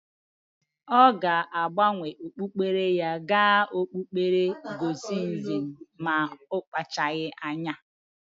Ọ ga-agbanwe okpukpere ya ga okpukpere gnostisisim ma akpachagi anya.